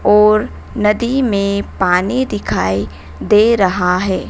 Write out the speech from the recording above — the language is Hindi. और नदी में पानी दिखाई दे रहा है।